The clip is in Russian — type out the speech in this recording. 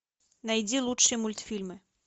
найди лучшие мультфильмы